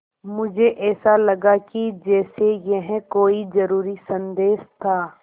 मुझे ऐसा लगा कि जैसे यह कोई ज़रूरी संदेश था